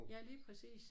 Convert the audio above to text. Ja lige præcis